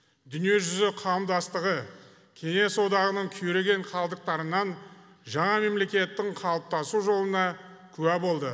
дүние жүзі қауымдастығы кеңес одағының күйреген қалдықтарынан жаңа мемлекеттің қалыптасу жолына куә болды